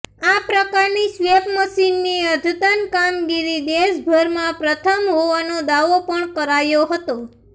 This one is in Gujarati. આ પ્રકારની સ્વેપ મશીનની અદ્યતન કામગીરી દેશભરમાં પ્રથમ હોવાનો દાવો પણ કરાયો હતો